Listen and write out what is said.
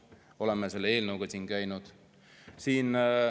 Oleme selle eelnõuga siin käinud.